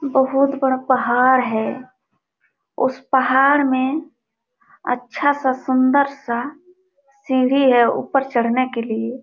बहुत बड़ा पहाड़ है उस पहाड़ में अच्छा सा सुन्दर सा सीढ़ी है ऊपर चढ़ने के लिए|